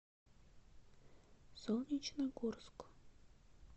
солнечногорск